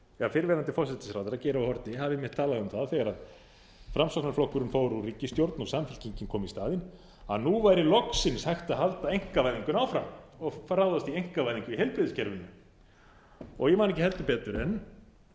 fyrrverandi forsætisráðherra geir h haarde hafi einmitt talað um það þegar framsóknarflokkurinn fór úr ríkisstjórn og samfylkingin kom í staðinn að nú væri loksins hægt að halda einkavæðingunni áfram og ráðast i einkavæðingu í heilbrigðiskerfinu ég man ekki heldur betur en